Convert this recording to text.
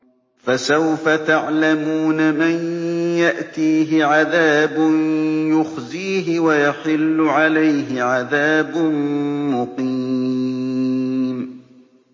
فَسَوْفَ تَعْلَمُونَ مَن يَأْتِيهِ عَذَابٌ يُخْزِيهِ وَيَحِلُّ عَلَيْهِ عَذَابٌ مُّقِيمٌ